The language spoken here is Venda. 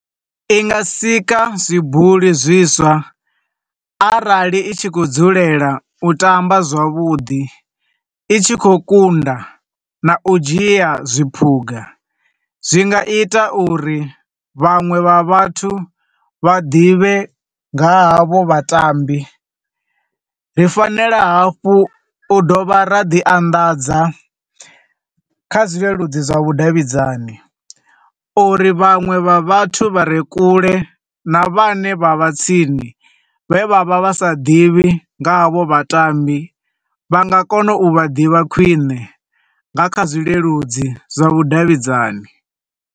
I nga sika zwibuli zwiswa arali i tshi khou dzulela u tamba zwavhuḓi, i tshi khou kunda, na u dzhia zwi phuga, zwi nga ita uri vhanwe vha vhathu vha ḓivhe nga ha vho vhatambi. Ri fanela hafhu ra dovha ra ḓi anḓadza kha zwi leludzi zwa vhudavhidzani, uri vhanwe vha vhathu vha re kule, na vha ne vha vha tsini vhe vha vha vha sa ḓivhi nga havho vhatambi, vha nga kona u vha ḓivha khwiṋe, nga kha zwileludzi zwa vhudavhidzani.